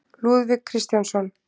Lúðvík Kristjánsson.